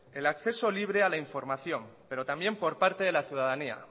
el acceso libre a la información pero también por parte de la ciudadanía